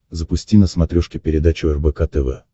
запусти на смотрешке передачу рбк тв